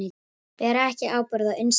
Bera ekki ábyrgð á innstæðum